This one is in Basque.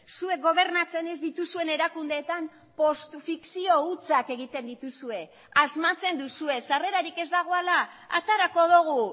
zuek gobernatzen ez dituzuen erakundeetan postu fikzio hutsak egiten dituzue asmatzen duzue sarrerarik ez dagoela aterako dugu